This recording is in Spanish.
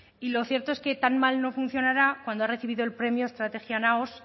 y lo cierto es que tan mal no funcionará cuando ha recibido el premio estrategia naos